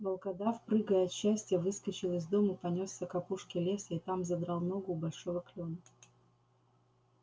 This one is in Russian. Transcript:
волкодав прыгая от счастья выскочил из дому понёсся к опушке леса и там задрал ногу у большого клёна